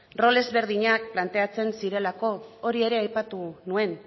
rol ezberdinak planteatzen zirelako hori ere aipatu nuen